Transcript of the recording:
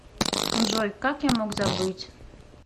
джой как я мог забыть